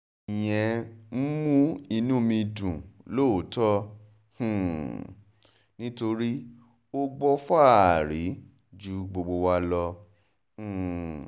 ìyẹn ń mú inú ẹ̀mí dùn lọ́tọ̀ um nítorí ó gbọ́ fáàrí ju gbogbo wa lọ um